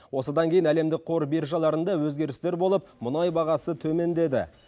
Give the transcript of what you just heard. осыдан кейін әлемдік қор биржаларында өзгерістер болып мұнай бағасы төмендеді